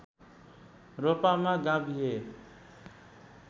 रोल्पामा गाभिए